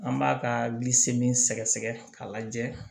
An b'a ka bilisi min sɛgɛsɛgɛ k'a lajɛ